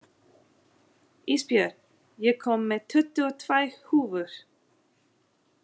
Ísbjörn, ég kom með tuttugu og tvær húfur!